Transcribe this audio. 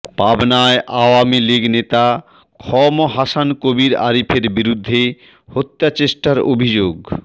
পাবনায় আওয়ামী লীগ নেতা খ ম হাসান কবীর আরিফের বিরুদ্ধে হত্যাচেষ্টার অভিযোগ